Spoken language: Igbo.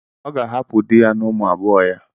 Ọ ga-ahapụ di ya na ụmụ abụọ ya.